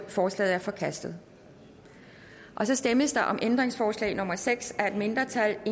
forslaget er forkastet så stemmes der om ændringsforslag nummer seks af et mindretal